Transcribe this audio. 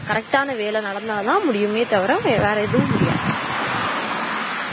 correct ஆனா வேலை நடந்தாதான் முடியுமே தவிர வேற ஏதும் முடியாது